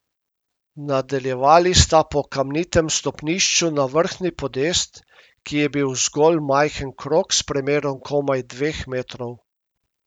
Nadaljevali sta po kamnitem stopnišču na vrhnji podest, ki je bil zgolj majhen krog s premerom komaj dveh metrov.